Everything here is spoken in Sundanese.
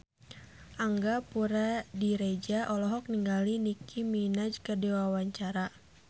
Angga Puradiredja olohok ningali Nicky Minaj keur diwawancara